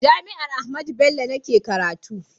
jami'an Ahmadu Bello ni ke karatu